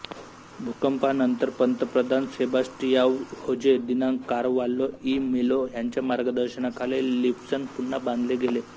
भूकंपानंतर पंतप्रधान Sebastiao Jose de Carvalho e Melo ह्याच्या मार्गदर्शनाखाली लिस्बन पुन्हा बांधले गेले